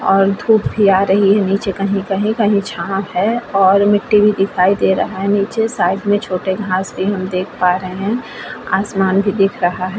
और धुप भी आ रही है नीचे कहीं-कहीं-कहीं छाओं है और मिट्टी भी दिखाई दे रहा है नीचे साइड भी छोटे घांस भी हम देख पा रहे हैं। आसमान भी दिख रहा है।